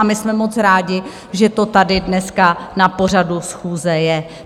A my jsme moc rádi, že to tady dneska na pořadu schůze je.